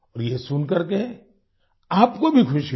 ये सुन करके आपको भी खुशी होगी